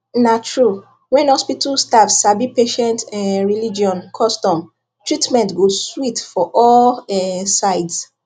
na true when hospital staff sabi patient um religion custom treatment go sweet for all um sides